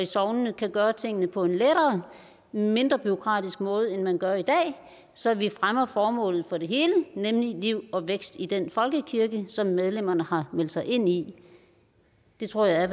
sognene kan gøre tingene på en lettere og mindre bureaukratisk måde end man gør i dag så vi fremmer formålet med det hele nemlig liv og vækst i den folkekirke som medlemmerne har meldt sig ind i det tror jeg